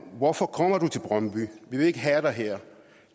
hvorfor kommer du til brøndby vi vil ikke have dig her